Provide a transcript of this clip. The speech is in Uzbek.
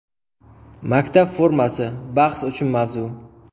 Maktab formasi – bahs uchun mavzu.